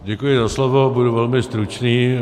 Děkuji za slovo, budu velmi stručný.